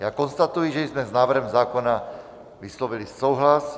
Já konstatuji, že jsme s návrhem zákona vyslovili souhlas.